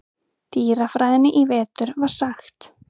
dýrafræðinni í vetur var sagt.